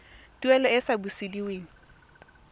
tuelo e e sa busediweng